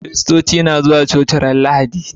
Kiristoci na zuwa coci ranar lahadi